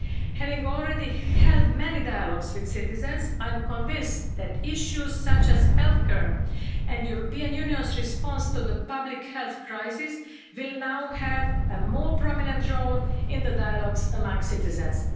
Having already held many dialogues with citizens, I am convinced that issues such as healthcare and the European Union's response to the public health crisis will now have a more prominent role in the dialogues among citizens.